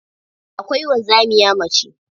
Akwai wanzamiya mace.